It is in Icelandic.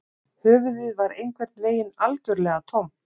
Höfuðið var einhvern veginn algjörlega tómt